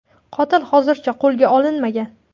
Qotil hozircha qo‘lga olinmagan.